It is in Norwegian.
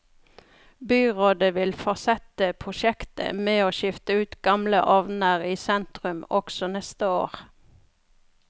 Byrådet vil fortsette prosjektet med å skifte ut gamle ovner i sentrum også neste år.